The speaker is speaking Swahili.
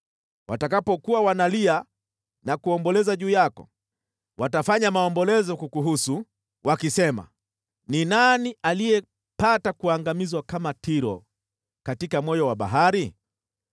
Watakapokuwa wanalia na kuomboleza juu yako, watafanya maombolezo kukuhusu wakisema: “Ni nani aliyepata kuangamizwa kama Tiro, katika moyo wa bahari?”